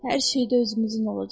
Hər şeydə özümüzün olacaq.